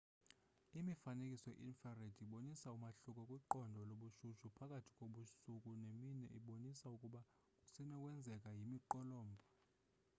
imifanekiso ye-infrared ibonisa umahluko kwiqondo lobushushu phakathi kobusuku nemini ibonisa ukuba kusenokwenzeka yimiqolombha